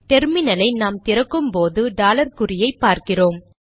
டெர்மினலை நாம் திறக்கும் போது டாலர் குறியை பார்க்கிறோம்